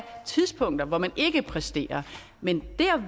tidspunkter hvor man ikke præsterer men